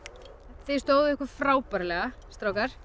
þið stóðuð ykkur frábærlega strákar